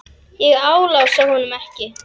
Ég álasa honum ekki.